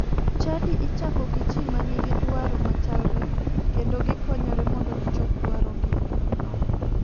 Chadi ichako gi ji ma nigi dwaro machalre kendo gikonyore mondo gichop dwarogino.